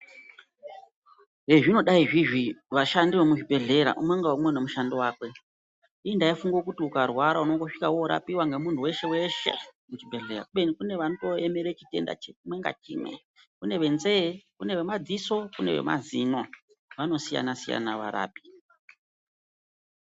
Zvezvinodai zviizvi vashandi vemuzvibhehlera umwe ngaumwe unomushando wakwe. Inini ndaifunge kuti ukarwara unondosvika worapiwa nemunhu weshe-weshe muchibhehleya. Kubeni kune vanotoemere chitenda chimwe ngachimwe, Kune venzee, kune vemadziso kune vemazino. Vanosiyana-siyana varapi.